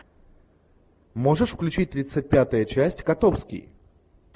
можешь включить тридцать пятая часть котовский